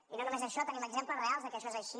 i no només això tenim exemples reals que això és així